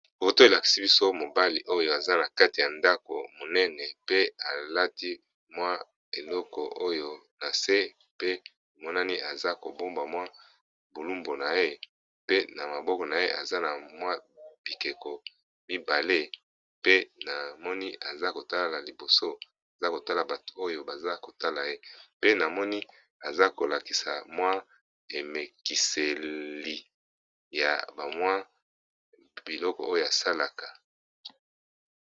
Foto elakisi biso mobali oyo aza na kati ya ndako monene. Pe alati mwa eloko oyo na se pe emonani aza ko bomba mwa bo lumbu na ye. Pe na maboko na ye aza na mwa bikeko mibale. Pe na moni aza ko tala liboso aza kotala bato oyo baza kotala ye. Pe na moni aza kolakisa mwa emekiseli ya ba mwa biloko oyo asalaka.